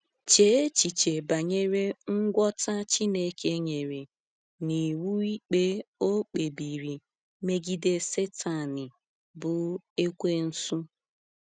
Chee echiche banyere ngwọta Chineke nyere n’iwu ikpe ọ kpebiri megide Satani bụ Ekwensu.